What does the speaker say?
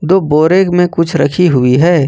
दो बोरे में कुछ रखी हुई है।